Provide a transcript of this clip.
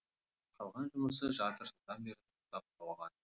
қалған жұмысы жарты жылдан бері тоқтап қалған